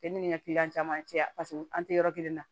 E ni ŋa caman cɛ paseke an te yɔrɔ kelen na